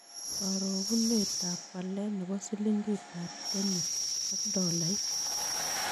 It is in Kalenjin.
Karogunetap walet ne bo silingiitap kenyaak tolait